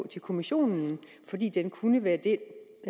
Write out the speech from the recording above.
til kommissionen fordi den kunne være det